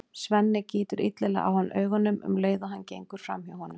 Svenni gýtur illilega á hann augunum um leið og hann gengur fram hjá honum.